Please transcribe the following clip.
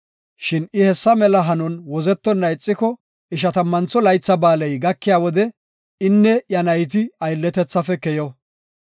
Shin I hessa mela hanon wozetonna ixiko, Ishatammantho Laytha Ba7aaley gakiya wode inne iya nayti aylletethafe keyo.